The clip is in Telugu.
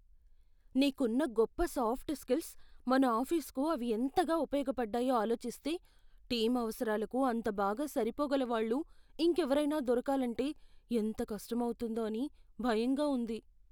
నీకున్న గొప్ప సాఫ్ట్ స్కిల్స్, మన ఆఫీసుకు అవి ఎంతగా ఉపయోగపడ్డాయో ఆలోచిస్తే, టీం అవసరాలకు అంత బాగా సరిపోగల వాళ్ళు ఇంకెవరైనా దొరకాలంటే ఎంత కష్టం అవుతుందో అని భయంగా ఉంది.